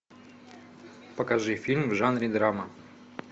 покажи фильм в жанре драма